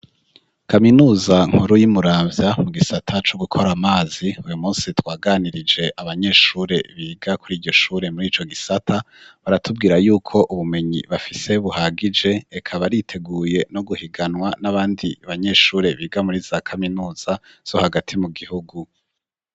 Kaminuza nkuru y'imuramvya mu gisata co gukora amazi, uyu munsi twaganirije abanyeshure biga kuri iryo shure muri ico gisata. Baratubwira yuko ubumenyi bafise buhagije, eka bariteguye no guhiganwa n'abandi banyeshure biga muri za kaminuza zo hagati mu gihugu.